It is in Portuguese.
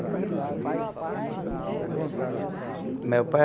Uhum. E seu pai? Meu pai